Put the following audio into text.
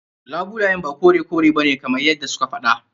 Labulayen ba kore ba kore bane kamar yadda su ke faɗa.